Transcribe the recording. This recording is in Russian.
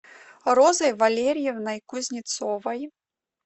розой валерьевной кузнецовой